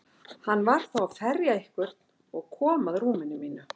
Hann var þá að ferja einhvern og kom að rúminu mínu.